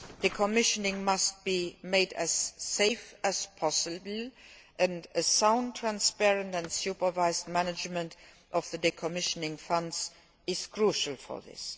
Decommissioning must be made as safe as possible, and sound, transparent and supervised management of decommissioning funds is crucial for this.